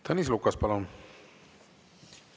Tõnis Lukas, palun!